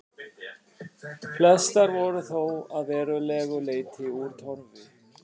Flestar voru þó að verulegu leyti úr torfi.